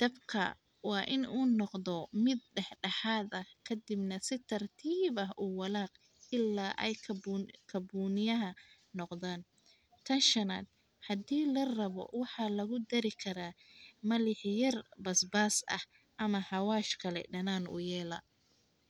dabka waa in uu noqdo mid dhex dhexaad ah ka dibna si tartiib ah u walaac ilaa ay kabuun kabuuniyaha noqdaan. Tan shanaad, haddii la rabo waxaa lagu dari karaa malixiyar basbaas ah ama hawaaj kale dhanaan u yeela.